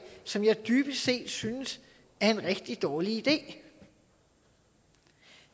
som jeg dybest set synes er en rigtig dårlig idé